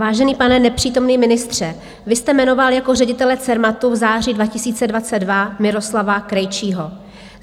Vážený pane nepřítomný ministře, vy jste jmenoval jako ředitele Cermatu v září 2022 Miroslava Krejčího.